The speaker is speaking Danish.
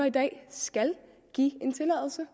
i dag skal give en tilladelse